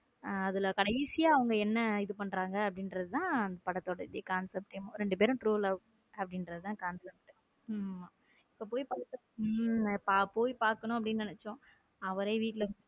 அதுல கடைசியா அவங்க என்ன இது பண்றாங்க அப்படிங்கிறது தான் படத்தோட concept இரண்டு பேரும் true லவ் அப்படிங்கற தான் concept ஆமா போய் பாக்கணும் அப்படின்னு நினைச்சோம் அவரே வீட்ல.